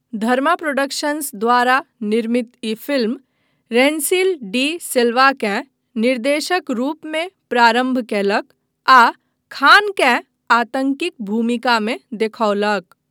धर्मा productions द्वारा निर्मित ई फिल्म, रेन्सिल डी सिल्वाकेँ निर्देशक रूपमे प्रारम्भ कयलक आ खानकेँ आतँकीक भूमिकामे देखौलक।